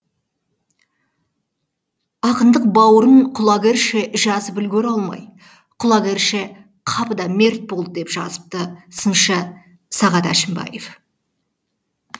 ақындық бауырын құлагерше жазып үлгере алмай құлагерше қапыда мерт болды деп жазыпты сыншы сағат әшімбаев